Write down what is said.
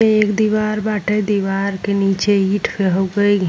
एक दीवार बाटे। दीवार के नीचे ईट हो गईल --